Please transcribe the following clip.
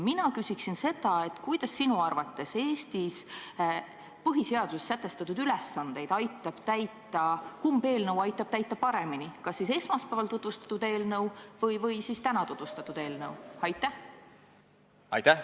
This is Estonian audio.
Kumb eelnõu sinu arvates aitab paremini täita Eesti põhiseaduses sätestatud ülesandeid: kas esmaspäeval tutvustatud eelnõu või täna tutvustatud eelnõu?